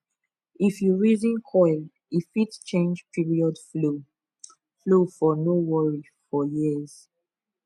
if you reason coil e fit change period flow flow for no worry for years